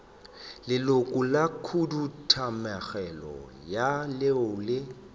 leloko la khuduthamaga leo le